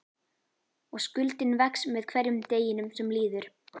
Og skuldin vex með hverjum deginum sem líður.